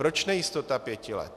Proč nejistota pěti let?